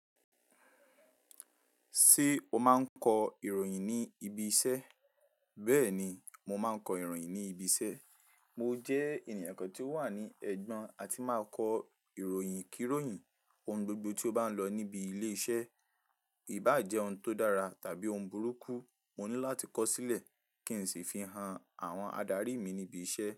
Ṣé o máa ń kọ ìròyìn ní ibi iṣẹ́? Bẹ́ẹ̀ni, mo máa ń kọ ìròyìn ní ibi iṣẹ́. Mo jẹ́ ènìyàn kan tí ó wà ní ẹ̀gbọ́n àti máa kọ ìròyìn kíròyìn ohun gbogbo tí ó bá ń lọ níbi ilé iṣẹ́. Ìbá jẹ́ ohun tó dára tàbí ohun burúkú, mo ní láti kọ sílẹ̀ kí n sì fi hàn àwọn adarí mi níbi iṣẹ́